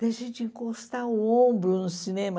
Deixei de encostar o ombro no cinema.